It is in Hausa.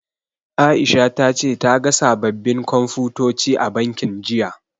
Aisha ta ce ta ga sababbin Komfutoci a bankin, jiya.